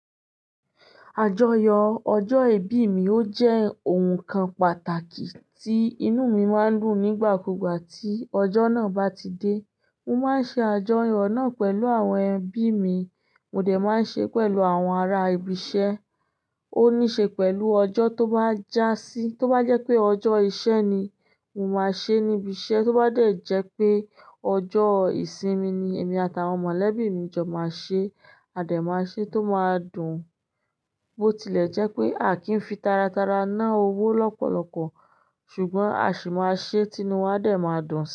Àjọyọ̀ ọjọ́ ìbí mi ó jẹ́ ohun kan pàtàkì tí inú mi máa ń dun nígbà kúgbà tí ọjọ́ náà bá ti dé. Mo máa ń ṣe àjọyọ̀ náà pẹ̀lú àwọn ẹbí mi, mo dẹ̀ máa ń ṣe pẹ̀lú àwọn ará ibi iṣẹ́. Ó ní ṣe pẹ̀lú ọjọ́ tó bá jásí. Tó bá jẹ́ pé ọjọ́ iṣẹ́ ni, mo máa ṣe níbi iṣẹ́. Tó bá de jẹ́ pé ọjọ́ ìsinmi ni, èmi àtàwọn mọ̀lẹ́bí mi jọ máa ṣe, a dẹ̀ máa ṣe tó máa dùn. Bó tilẹ̀ jẹ́ pé a kì í fi taratara ná owó lọ́pọ̀lọpọ̀, ṣùgbọ́n a sì máa ṣe tí inú wa dẹ̀ máa dùn si.